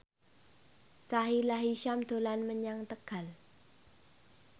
Sahila Hisyam dolan menyang Tegal